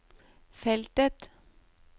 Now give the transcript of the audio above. feltet